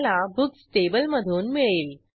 insert into checkout method काय करते ते बघू